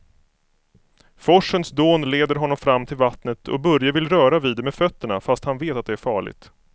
Forsens dån leder honom fram till vattnet och Börje vill röra vid det med fötterna, fast han vet att det är farligt.